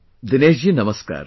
Dinesh ji, Namaskar